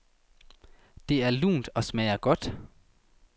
Det er lunt og smager godt.